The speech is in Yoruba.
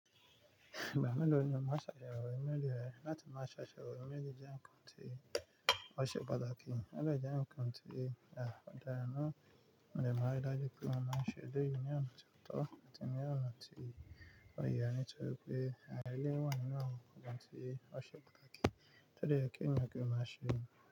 Ìgbà mélòó ni o máa ṣàyẹ̀wò email rẹ láti má ṣàyẹ̀wò email jẹ́ nǹkan tí ó ṣe pàtàkì, ó dẹ jẹ́ nǹkan tí ọ̀daràn náà dè maa rí dájú pé mo máa ṣe é eleyii ní ọ̀nà tó tọ́ àti ní ọ̀nà tí ó yẹ ní tóri pé àárín ilé wa ninu awon nǹkan tí ó ṣe pàtàkì to dẹ̀ yẹ kí ènìyàn kí wọ́n má ṣe.